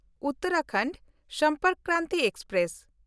ᱩᱛᱛᱚᱨᱟᱯᱷᱳᱨᱴ Sampark Kranti express